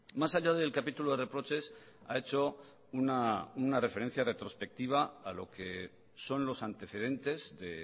más allá del capítulo de reproches ha hecho una referencia retrospectiva a lo que son los antecedentes de